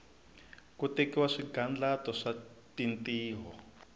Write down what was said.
ku tekiwa swigandlato swa tintiho